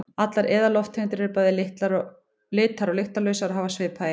Allar eðallofttegundir eru bæði litar- og lyktarlausar og hafa svipaða eiginleika.